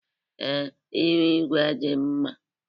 ee, ihu igwe dị mma